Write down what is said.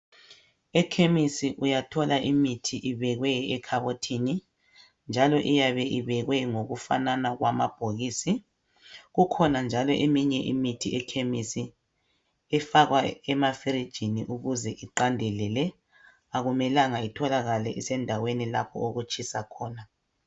Ekhemisi uyathola imithi ifakwe ekhabothini, njalo iyabe ibekwe ngokufanana kwama bhokisi, ikhona njalo eminye imithi efakwa ekhemisi efakwa efrijini ukuze iqandelele akumelanga itholakale endaweni okutshisa khona.